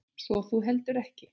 Svo þú heldur ekki?